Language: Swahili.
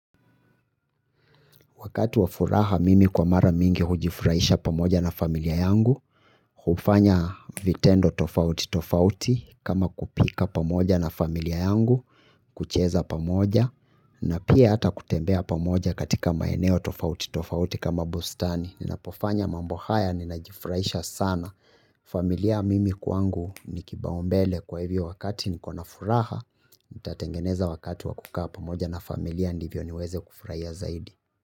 Wakati wafuraha mimi kwa mara mingi hujifurahisha pamoja na familia yangu. Hufanya vitendo tofauti tofauti kama kupika pamoja na familia yangu. Kucheza pamoja na pia hata kutembea pamoja katika maeneo tofauti tofauti kama bustani. Ninapofanya mambo haya ninajifurahisha sana. Familia mimi kwangu nikibaombele kwa hivyo wakati nikona furaha. Itatengeneza wakati wakukaa pamoja na familia ndivyo niweze kufurahia zaidi.